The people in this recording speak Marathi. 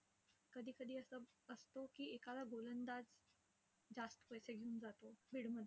कधी कधी असं असतो की, एखादा गोलंदाज जास्त पैसे घेऊन जातो bid मध्ये.